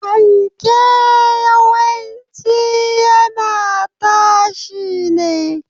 Fanke yawanci yana tashi ne.